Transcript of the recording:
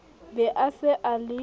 be a se a le